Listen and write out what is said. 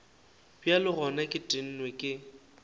bjale gona ke tennwe ke